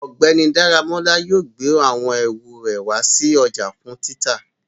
Ọgbẹni Daramola yóò gbe awọn eru re wa si ọja fun tita